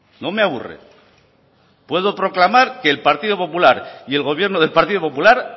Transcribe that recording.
no me aburre puedo proclamar que el partido popular y el gobierno del partido popular